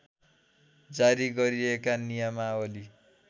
जारी गरिएका नियमावली